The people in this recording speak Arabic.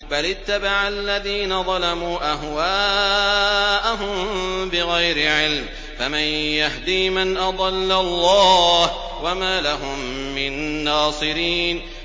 بَلِ اتَّبَعَ الَّذِينَ ظَلَمُوا أَهْوَاءَهُم بِغَيْرِ عِلْمٍ ۖ فَمَن يَهْدِي مَنْ أَضَلَّ اللَّهُ ۖ وَمَا لَهُم مِّن نَّاصِرِينَ